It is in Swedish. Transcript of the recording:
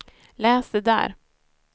läs det där